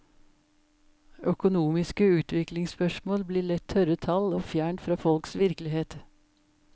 Økonomiske utviklingsspørsmål blir lett tørre tall og fjernt fra folks virkelighet.